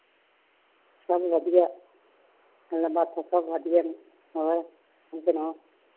ਸਭ ਵਧੀਆਂ ਗੱਲਾ ਬਾਤਾ ਸਭ ਵਧੀਆਂ ਨੇ ਹੋਰ ਤੁਸੀ ਸਣਾਓ